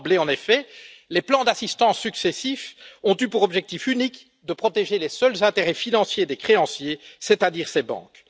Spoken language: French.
D'emblée, en effet, les plans d'assistance successifs ont eu pour objectif unique de protéger les seuls intérêts financiers des créanciers, c'est à dire ces banques.